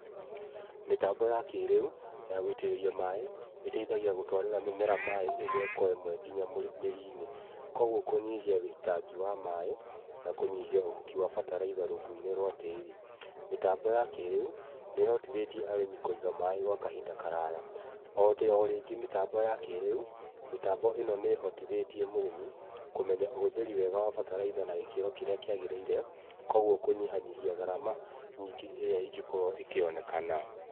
Mĩtambo ya kĩĩrĩu ya gũitĩrĩria maaĩ ĩteithagia gũtwarĩra mĩmera maaĩ ĩmwe kwa ĩmwe nginya mĩri-inĩ, kogwo kũnyihia wĩitangi wa maaĩ na kũnyihia ũhuki wa bataraitha rungu-inĩ rwa tĩri. Mĩtambo ya kĩĩrĩu nĩ ĩhotithĩtie arĩmi kũiga maaĩ gwa kahinda karaya. O rĩngĩ mĩtambo ya kĩĩrĩu, mĩtambo ĩno nĩ ĩhotithĩtie mũrĩmi kũmenya ũhũthĩri wega wa bataraitha na gĩkĩro kĩrĩa kĩagĩrĩire, kogwo kũnyihanyihia gharama nyingĩ ĩrĩa ĩngĩkorwo ĩkĩonekana.